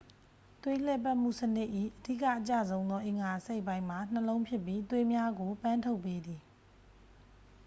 သွေးလှည့်ပတ်မှုစနစ်၏ အဓိက အကျဆုံးသော အင်္ဂါအစိတ်အပိုင်းမှာ နှလုံးဖြစ်ပြီး သွေးများကို ပန်းထုတ်ပေးသည်